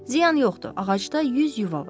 Ziyan yoxdur, ağacda 100 yuva var.